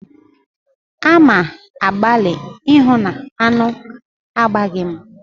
A ma-agbali ịhụ na aṅụ agbaghị mụ.